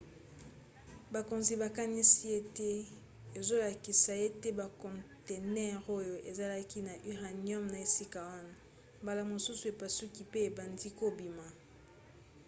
bakonzi bakanisi ete ezolakisa ete bakontenere oyo ezalaki na uranium na esika wana mbala mosusu epasuki pe ebandi kobima